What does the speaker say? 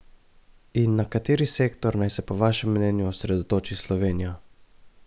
In na kateri sektor naj se po vašem mnenju osredotoči Slovenija?